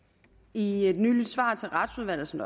i et nyligt svar til retsudvalget som